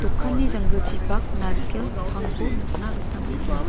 dokani janggilchipak narikelko pangko nikna gita man·enga.